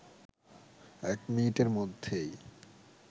১ মিনিটের মধ্যেই